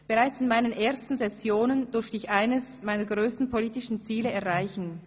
Bereits in meinen ersten Sessionen durfte ich eines meiner grössten politischen Ziele erreichen: